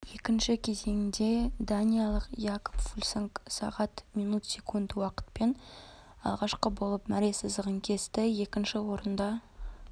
екінші кезеңде даниялық якоб фульсанг сағат минут секунд уақытпен алғашқы болып мәре сызығын кесті екінші орында